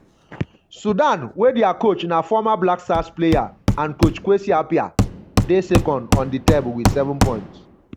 sudan um wey dia coach na former um blackstars player and coach kwesi appiah dey um second on di table wit 7 points.